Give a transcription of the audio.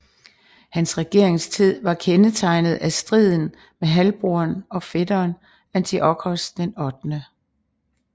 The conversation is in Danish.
Hans regeringstid var kendetegnet af striden med halvbroderen og fætteren Antiochos 8